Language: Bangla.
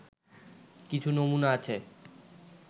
কিছু নমুনা আছে